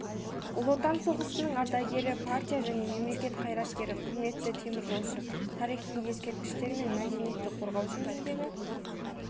ұлы отан соғысының ардагері партия және мемлекет қайраткері құрметті теміржолшы тарихи ескерткіштер мен мәдениетті қорғау жөніндегі